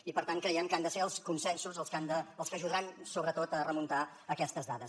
i per tant creiem que han de ser els consensos els que ajudaran sobretot a remuntar aquestes dades